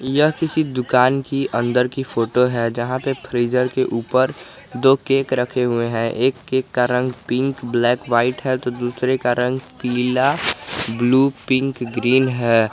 यह किसी दुकान की अंदर की फोटो है जहां पे फ्रीजर के ऊपर दो केक रखे हुए है एक केक का रंग पिंक ब्लैक व्हाइट है तो दूसरे का रंग पीला ब्लू पिंक ग्रीन है।